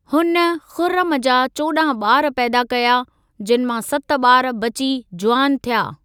हुन खुर्रम जा चोॾांह ॿार पैदा कया, जिनि मां सत ॿार बची जुवान थिया।